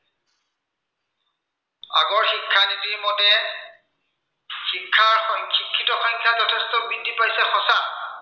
শিক্ষা আৰু শিক্ষিত সংখ্য়া যথেষ্ট বৃদ্ধি পাইছে সঁচা।